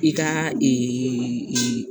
I ka